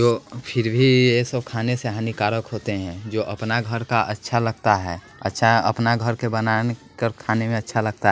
फिर भी ये सब खाने से हानिकारक होते हैं जो अपना घर का अच्छा लगता है अच्छा अपना घर के बनाने कर खाने में अच्छा लगता--